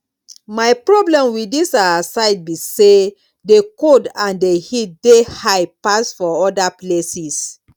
my problem with this our side be say the cold and the heat dey high pass for other places